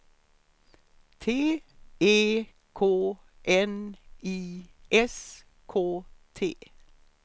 T E K N I S K T